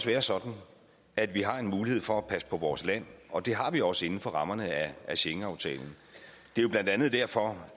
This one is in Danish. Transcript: være sådan at vi har mulighed for at passe på vores land og det har vi også inden for rammerne af schengenaftalen det er blandt andet derfor